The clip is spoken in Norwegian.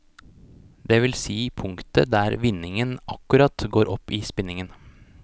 Det vil si punktet der vinningen akkurat går opp i spinningen.